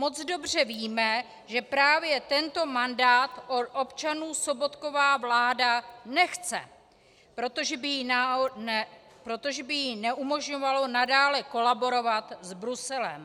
Moc dobře víme, že právě tento mandát od občanů Sobotkova vláda nechce, protože by jí neumožňoval nadále kolaborovat s Bruselem.